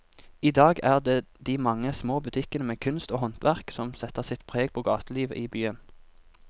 I dag er det de mange små butikkene med kunst og håndverk som setter sitt preg på gatelivet i byen.